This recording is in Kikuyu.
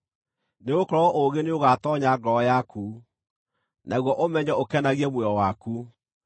Nĩgũkorwo ũũgĩ nĩũgatoonya ngoro yaku, naguo ũmenyo ũkenagie muoyo waku.